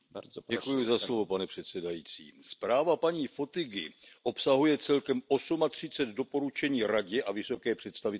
Pane předsedající, zpráva paní Fotygové obsahuje celkem třicet osm doporučení Radě a vysoké představitelce Unie.